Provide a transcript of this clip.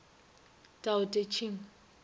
tao te ching